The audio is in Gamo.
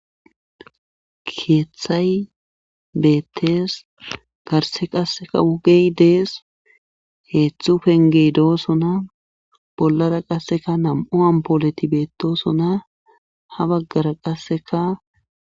keeththay beettes garse qasseka wugey dees heeththu pengey doosona bollara qasseka nam7o ampooleti beettosona ha baggara qasseka